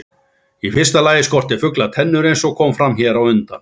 Í fyrsta lagi skortir fugla tennur eins og kom fram hér á undan.